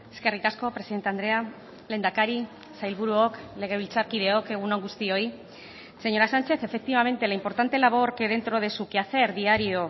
eskerrik asko presidente andrea lehendakari sailburuok legebiltzarkideok egun on guztioi señora sánchez efectivamente la importante labor que dentro de su quehacer diario